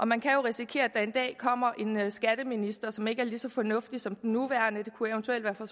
man kan jo risikere at der er en dag kommer en skatteminister som ikke er lige så fornuftig som den nuværende det kunne eventuelt være fra